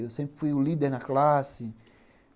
Eu sempre fui o líder na classe.